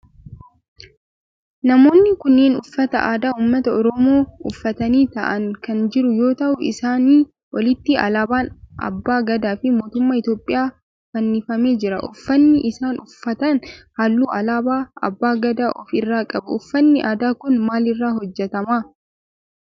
Namoonni kunneen uffata aadaa ummata oromoo uffatanii ta'aani kan jiran yoo ta'u isaani olitti alaabaan abbaa Gadaa fi mootummaa Itiyoophiyaa fannifamee jira. Uffanni isaan uffatan halluu alaabaa abbaa Gadaa of irraa qaba. Uffanni aadaa kun maal irraa hojjetama?